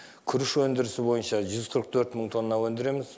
күріш өндірісі бойынша жүз қырық төрт мың тонна өндіреміз